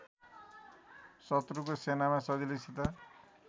शत्रुको सेनामा सजिलैसित